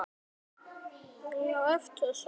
Alltaf brást hann vel við.